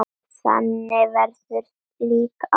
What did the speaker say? Þannig verður líka að fara.